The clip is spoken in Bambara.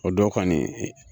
O dɔw kɔnin i